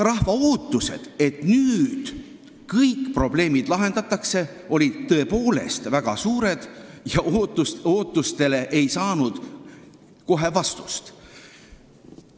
Rahva ootused, et nüüd kõik probleemid lahendatakse, olid tõepoolest väga suured ja ootustele ei saanud kohe vastust.